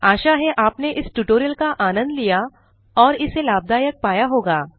आशा है आपने इस ट्यूटोरियल का आनंद लिया और इसे लाभदायक पाया होगा